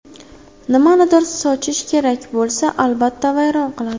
Nimanidir sochish kerak bo‘lsa, albatta, vayron qiladi.